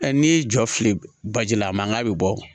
n'i y'i jɔ fili baji la a mankan bɛ bɔ